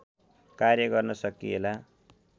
कार्य गर्न सकिएला